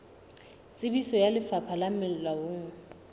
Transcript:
tsebiso ya lefapha le molaong